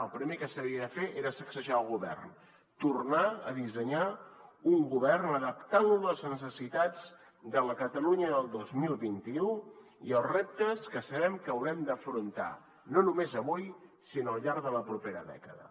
el primer que s’havia de fer era sacsejar el govern tornar a dissenyar un govern adaptant lo a les necessitats de la catalunya del dos mil vint u i als reptes que sabem que haurem d’afrontar no només avui sinó al llarg de la propera dècada